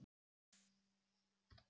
Við spjölluðum lengi í gærkvöldi.